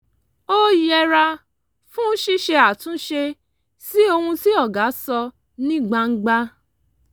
ó yẹra fún ṣíṣe àtúnṣe sí ohun tí ọ̀gá sọ ní gbangba